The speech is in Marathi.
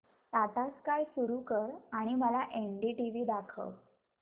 टाटा स्काय सुरू कर आणि मला एनडीटीव्ही दाखव